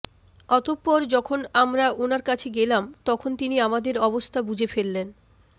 অতঃপর যখন আমরা উনার কাছে গেলাম তখন তিনি আমাদের অবস্থা বুঝে ফেললেন